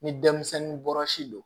Ni denmisɛnnin bɔra si don